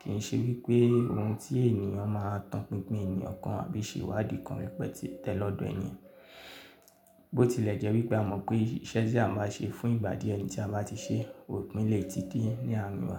kì í ṣe wípé ohun tí èèyàn máa tan pínpín èèyàn kan àbí ṣe ìwádìí kan wípé tẹ́lọ́dọ̀ ẹnìyàn. Bó ti lẹ́jẹ́ wípé a mọ̀ pé iṣẹ́ tí a báa ṣe fún ìgbà díẹ̀ ẹni tí a bá ti ṣe òpin lè tí de ní ààrin wa.